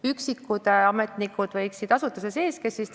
Üksikud ametnikud võiksid toimetada asutuse sees.